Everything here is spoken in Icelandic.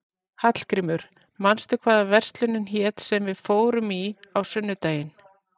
Hallgrímur, manstu hvað verslunin hét sem við fórum í á sunnudaginn?